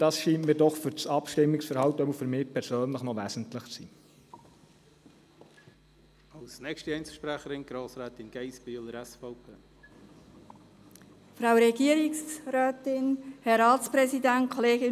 Das scheint mir doch für das Abstimmungsverhalten wesentlich zu sein, jedenfalls für mich persönlich.